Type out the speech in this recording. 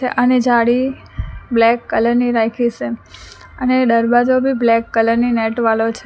અને જાડી black colour ની રાખી છે અને દરવાજો બી બ્લેક કલર ની નેટ વાળો છે.